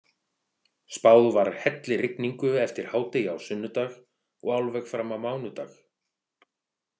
Spáð var hellirigningu eftir hádegi á sunnudag og alveg fram á mánudag.